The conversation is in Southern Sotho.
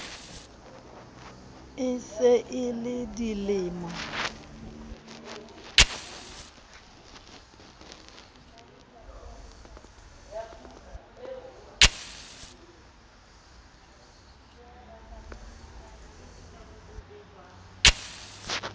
e se e le dilemo